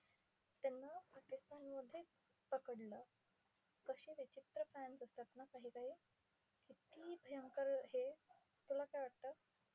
त्यांना पाकिस्तानमध्येच पकडलं. कसे विचित्र fans असतात ना काही काही! कित्ती भयंकर हे! तुला काय वाटतं?